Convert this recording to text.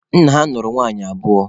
Nna ha nụrụ nwaanyị abụọ.